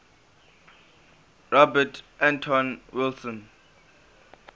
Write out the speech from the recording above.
robert anton wilson